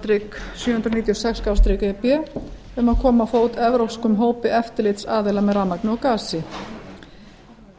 þrjú sjö hundruð níutíu og sex e b um að koma á fót evrópskum hópi eftirlitsaðila með rafmagni og gasi